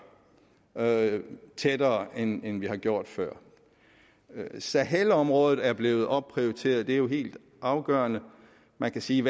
tættere end end vi har gjort før sahelområdet er blevet opprioriteret og det er jo helt afgørende man kan sige